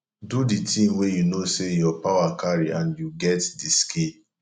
do di thing wey you know sey your power carry and you get di skill